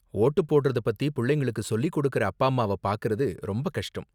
Vote போடுறத பத்தி புள்ளைங்களுக்கு சொல்லி கொடுக்குற அப்பா அம்மாவ பாக்கறது ரொம்ப கஷ்டம்.